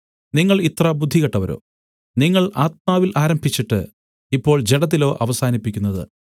നിങ്ങൾ ഇത്ര ബുദ്ധികെട്ടവരോ നിങ്ങൾ ആത്മാവിൽ ആരംഭിച്ചിട്ട് ഇപ്പോൾ ജഡത്തിലോ അവസാനിപ്പിക്കുന്നത്